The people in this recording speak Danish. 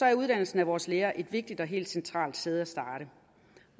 er uddannelsen af vores lærere et vigtigt og helt centralt sted at starte